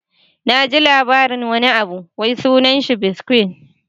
Na ji labarin wani abu wai sunan shi "bitcoin"